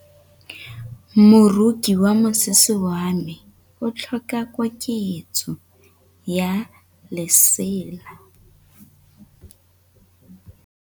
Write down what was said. Moroki wa mosese wa me o tlhoka koketsô ya lesela.